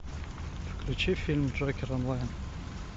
включи фильм джокер онлайн